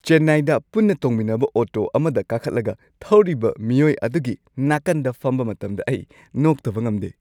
ꯆꯦꯟꯅꯥꯏꯗ ꯄꯨꯟꯅ ꯇꯣꯡꯃꯤꯟꯅꯕ ꯑꯣꯇꯣ ꯑꯃꯗ ꯀꯥꯈꯠꯂꯒ ꯊꯧꯔꯤꯕ ꯃꯤꯑꯣꯏ ꯑꯗꯨꯒꯤ ꯅꯥꯀꯟꯗ ꯐꯝꯕ ꯃꯇꯝꯗ ꯑꯩ ꯅꯣꯛꯇꯕ ꯉꯝꯗꯦ꯫